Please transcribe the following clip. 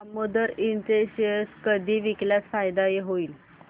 दामोदर इंड चे शेअर कधी विकल्यास फायदा होईल